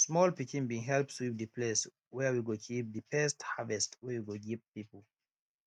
small pikin bin help sweep de place where we go keep de first harvest wey we go give people